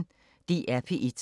DR P1